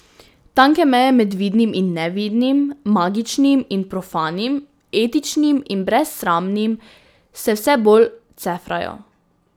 Tanke meje med vidnim in nevidnim, magičnim in profanim, etičnim in brezsramnim se vse bolj cefrajo.